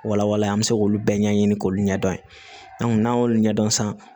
Walawalan an bɛ se k'olu bɛɛ ɲɛɲini k'olu ɲɛdɔn n'an y'olu ɲɛdɔn san